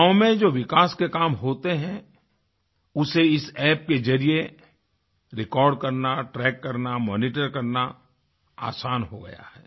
गाँव में जो विकास के काम होते हैं उसे इस App के ज़रिये रेकॉर्ड करना ट्रैक करना मॉनिटर करना आसान हो गया है